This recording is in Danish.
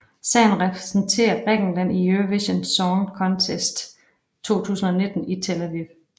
Sangen repræsenterer Grækenland i Eurovision Song Contest 2019 i Tel Aviv